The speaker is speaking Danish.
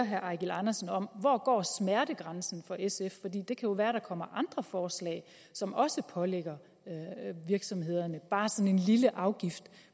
herre eigil andersen om hvor går smertegrænsen for sf for det kan jo være at der kommer andre forslag som også pålægger virksomhederne bare sådan en lille afgift